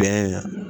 Bɛn